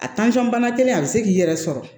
A bana kelen a be se k'i yɛrɛ sɔrɔ